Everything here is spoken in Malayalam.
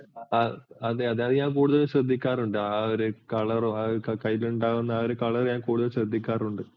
അതെ അതെ അത് ഞാൻ കൂടുതൽ ശ്രദ്ധിക്കാറുണ്ട് ആ ഒരു color ഉം ആ കൈയിലുണ്ടാകുന്ന ആ color ഞാൻ കൂടുതൽ ശ്രദ്ധിക്കാറുണ്ട്.